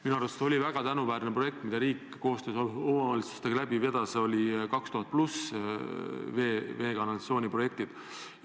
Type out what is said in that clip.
Minu arust oli väga tänuväärne projekt, mida riik koostöös omavalitsustega vedas, 2000+ vee- ja kanalisatsiooniprojektid.